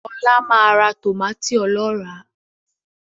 Ọlá máa ra tòmátì ọlọ́rà